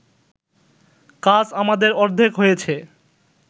কাজ আমাদের অর্ধেক হয়েছে